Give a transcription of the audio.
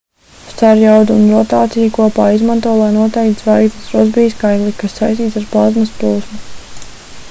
starjaudu un rotāciju kopā izmanto lai noteiktu zvaigznes rosbija skaitli kas saistīts ar plazmas plūsmu